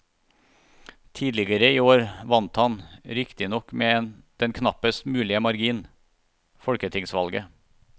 Tidligere i år vant han, riktignok med den knappest mulige margin, folketingsvalget.